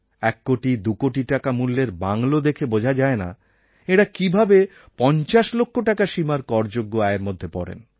এক কোটি দুকোটি টাকা মূল্যের বাংলো দেখে বোঝা যায় না এঁরা কীভাবে পঞ্চাশ লক্ষ টাকা সীমার করযোগ্য আয়ের মধ্যে পড়েন